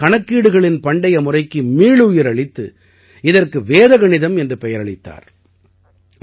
அவர் தான் கணக்கீடுகளின் பண்டைய முறைக்கு மீளுயிர் அளித்து இதற்கு வேத கணிதம் என்ற பெயரளித்தார்